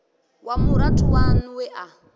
wa murathu waṋu we a